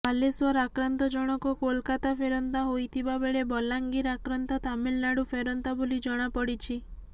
ବାଲେଶ୍ୱର ଆକ୍ରାନ୍ତ ଜଣକ କୋଲକାତା ଫେରନ୍ତା ହୋଇଥିବା ବେଳେ ବଲାଙ୍ଗୀର ଆକ୍ରାନ୍ତ ତାମିଲନାଡୁ ଫେରନ୍ତା ବୋଲି ଜଣାପଡିଛି